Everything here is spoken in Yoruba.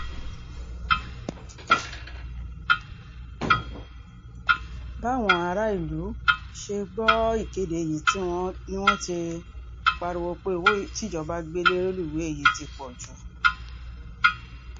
báwọn aráàlú ṣe gbọ́ ìkéde yìí ni wọ́n ti pariwo pé owó tíjọba gbé lé rélùwéè yìí ti pọ̀ jù